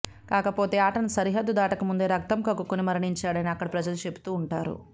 కాకపోతే ఆటను సరిహద్దు దాటకముందే రక్తం కక్కుకుని మరణించాడని అక్కడి ప్రజలు చెపుతూ వుంటారు